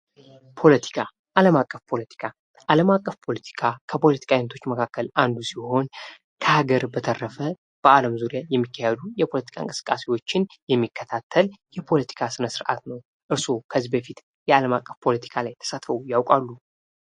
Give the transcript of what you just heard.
ፖለቲካ ዓለም አቀፍ ፖለቲካ ዓለም አቀፍ ፖለቲካ ከፖለቲካ ዓይነቶች መካከል አንዱ ሲሆን; ከሀገር በተረፈ በዓለም ዙሪያ የሚካሄዱ የፖለቲካ እንቅስቃሴዎችን የሚከታተል የፖለቲካ ሥነ ሥርዓት ነው። እርሶ ከዚህ በፊት የዓለም አቀፍ ፖለቲካ ላይ ተሳትፈው ያውቃሉ?